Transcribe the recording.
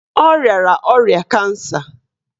Ọ riara ọrịa kansa